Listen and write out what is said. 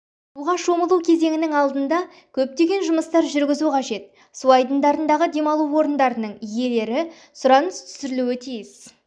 суға шомылу кезеңінің алдында көптеген жұмыстар жүргізу қажет су айдындарындағы демалу орындарының иелері сұраныс түсірулері тиіс